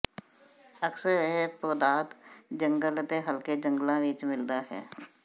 ਅਕਸਰ ਇਹ ਪੌਦਾਦ ਜੰਗਲ ਅਤੇ ਹਲਕੇ ਜੰਗਲਾਂ ਵਿਚ ਮਿਲਦਾ ਹੈ